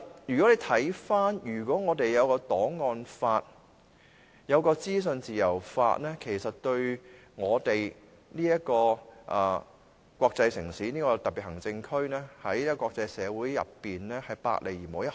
如果我們有檔案法和資訊自由法，其實對香港這個國際城市、這個特別行政區，在國際社會之中是百利而無一害的。